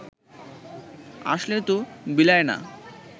আসলে তো বিলাই না